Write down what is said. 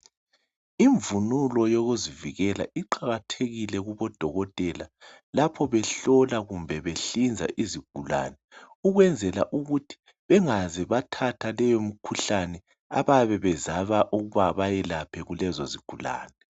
Ivunulo yokuzivikela iqakathekile kubo dokotela lapho behlola kumbe behlinza izigulane ukuyenzela ukuthi bengaze bayithathe leyo mikhuhlane abayabe zama ekuthi beyelaphe kulezi zigulane